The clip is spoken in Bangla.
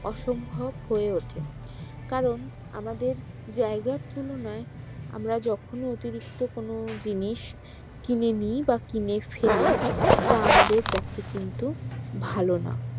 অসম্ভব হয়ে ওঠে কারণ আমাদের জায়গার তুলনায় আমরা যখনি অতিরিক্ত কোনো জিনিস কিনে নিই বা কিনে ফেলি তা আমাদের পক্ষে কিন্তু ভালো না